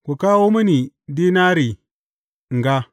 Ku kawo mini dinari in ga.